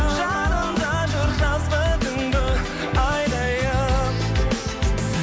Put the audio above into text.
жанымда жүр жазғы түнгі айдайын